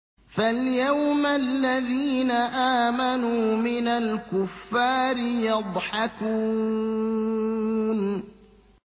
فَالْيَوْمَ الَّذِينَ آمَنُوا مِنَ الْكُفَّارِ يَضْحَكُونَ